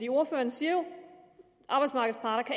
ordføreren siger jo